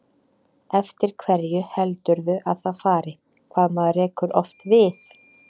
Eftir hverju heldurðu að það fari, hvað maður rekur oft við?